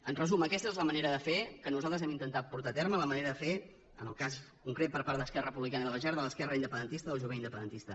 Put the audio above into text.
en resum aquesta és la manera de fer que nosaltres hem intentat portar a terme la manera de fer en el cas concret per part d’esquerra republicana i de la jerc de l’esquerra independentista del jovent independentista